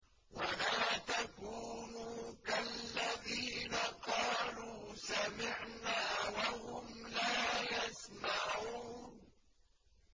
وَلَا تَكُونُوا كَالَّذِينَ قَالُوا سَمِعْنَا وَهُمْ لَا يَسْمَعُونَ